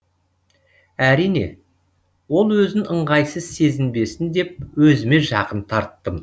әрине ол өзін ыңғайсыз сезінбесін деп өзіме жақын тарттым